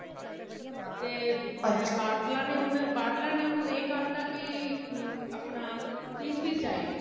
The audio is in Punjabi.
ਤੇ ਬਾਟਲਾ ਨੇ ਹੁਣ ,ਬਾਟਲਾ ਨੇ ਹੁਣ ਇਹ ਕਰ ਤਾ ਕੀ ਅਮ ਆਪਣਾ fees ਹੀ ਜਾਏਗੀ